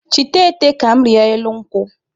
Chịta ete ka m rịa elu nkwụ!